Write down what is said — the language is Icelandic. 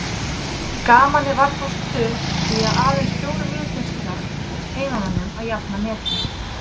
Gamanið var þó stutt því að aðeins fjórum mínútum síðar tókst heimamönnum að jafna metin.